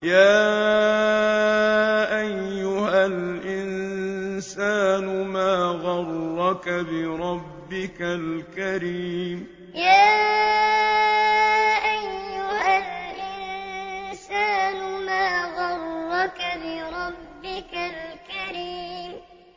يَا أَيُّهَا الْإِنسَانُ مَا غَرَّكَ بِرَبِّكَ الْكَرِيمِ يَا أَيُّهَا الْإِنسَانُ مَا غَرَّكَ بِرَبِّكَ الْكَرِيمِ